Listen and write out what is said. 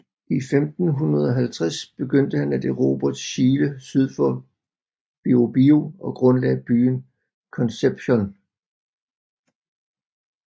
I 1550 begyndte han at erobre Chile syd for Biobío og grundlagde byen Concepción